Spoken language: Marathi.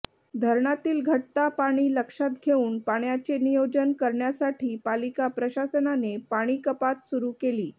धरणातील घटता पाणी लक्षात घेऊन पाण्याचे नियोजन करण्यासाठी पालिका प्रशासनाने पाणीकपात सुरू केली